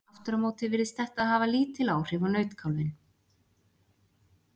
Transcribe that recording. aftur á móti virðist þetta hafa lítil áhrif á nautkálfinn